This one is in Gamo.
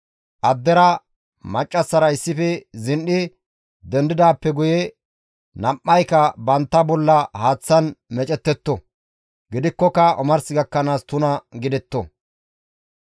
Addey maccassara zin7i dendidaappe guye nam7ayka bantta bolla haaththan meecettetto; gidikkoka omars gakkanaas tuna gidetto.